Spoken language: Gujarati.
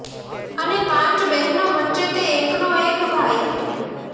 અને પાંચ બહેનો વચ્ચે તે એકનો એક ભાઈ હતો